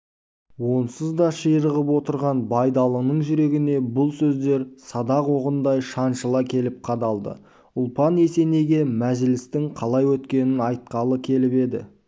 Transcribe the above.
онсыз да ширығып отырған байдалының жүрегіне бұл сөздер садақ оғындай шаншыла келіп қадалды ұлпан есенейге мәжілістің қалай өткенін айтқалы келіп еді